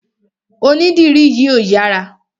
Onídìrí yìí ò yára.